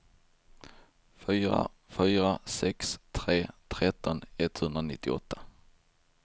fyra fyra sex tre tretton etthundranittioåtta